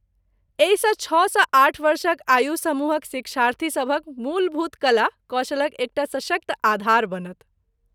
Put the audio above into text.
एहिसँ छओ सँ आठ वर्षक आयु समूहक शिक्षार्थीसभक मूलभूत कला कौशलक एकटा सशक्त आधार बनत।